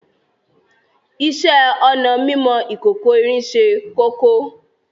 Ìṣẹ̀ onà mímọ̀ ìkòkò-ìrín sẹ́ kókó